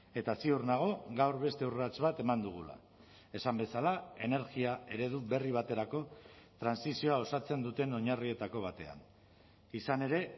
eta ziur nago gaur beste urrats bat eman dugula esan bezala energia eredu berri baterako trantsizioa osatzen duten oinarrietako batean izan ere